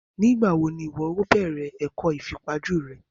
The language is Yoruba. Ni ìgbà wo ni o máa bẹ̀rẹ̀ ẹ̀kọ́ ìfipajú rẹ?